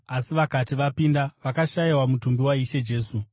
asi vakati vapinda, vakashayiwa mutumbi waIshe Jesu.